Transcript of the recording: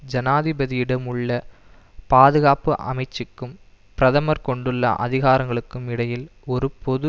ஜனாதிபதியிடம் உள்ள பாதுகாப்பு அமைச்சுக்கும் பிரதமர் கொண்டுள்ள அதிகாரங்களுக்கும் இடையில் ஒரு பொது